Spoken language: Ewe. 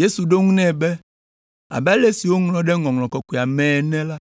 Yesu ɖo eŋu nɛ be, “Abe ale si woŋlɔ ɖe Ŋɔŋlɔ Kɔkɔea mee ene la,